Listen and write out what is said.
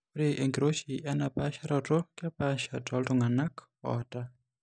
Ore enkiroshi einapaasharoto kepaasha tooltung'anak oata.